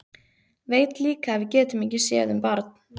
Veit líka að við getum ekki séð um barn.